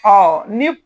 ni